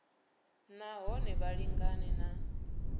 na hone vha lingane na